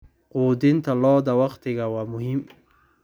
Quudinta lo'da waqtiga waa muhiim.